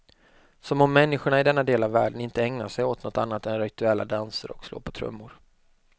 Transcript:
Som om människorna i denna del av världen inte ägnar sig åt något annat än rituella danser och slå på trummor.